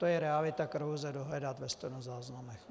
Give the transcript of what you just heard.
To je realita, kterou lze dohledat ve stenozáznamech.